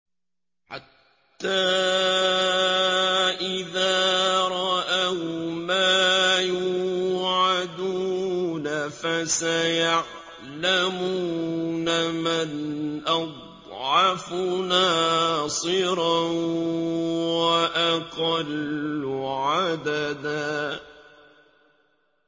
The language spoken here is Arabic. حَتَّىٰ إِذَا رَأَوْا مَا يُوعَدُونَ فَسَيَعْلَمُونَ مَنْ أَضْعَفُ نَاصِرًا وَأَقَلُّ عَدَدًا